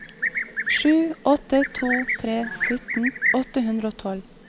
sju åtte to tre sytten åtte hundre og tolv